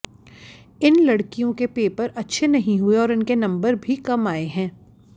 इन लड़कियों के पेपर अच्छे नहीं हुए और इनके नंबर भी कम आए हैं